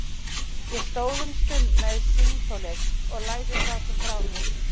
Ég stóð um stund með símtólið og lagði það svo frá mér.